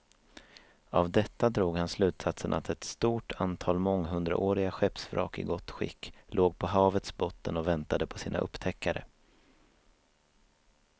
Av detta drog han slutsatsen att ett stort antal månghundraåriga skeppsvrak i gott skick låg på havets botten och väntade på sina upptäckare.